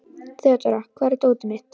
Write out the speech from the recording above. Þeódóra, hvar er dótið mitt?